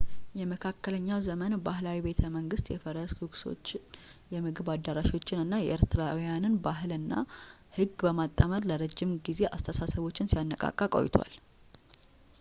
የመካከለኛው ዘመን ባህላዊ ቤተመንግስት የፈረስ ጉግሶችን የምግብ አዳራሾችን እና የኤርትራውያንን ባህል እና ህግ በማጣመር ለረጅም ጊዜ አስተሳሰቦችን ሲያነቃቃ ቆይቷል